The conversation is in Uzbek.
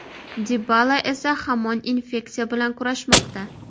Dibala esa hamon infeksiya bilan kurashmoqda .